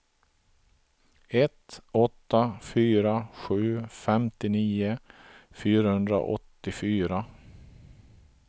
ett åtta fyra sju femtionio fyrahundraåttiofyra